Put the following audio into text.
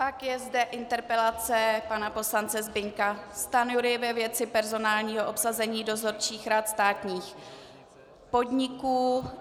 Pak je zde interpelace pana poslance Zbyňka Stanjury ve věci personálního obsazení dozorčích rad státních podniků.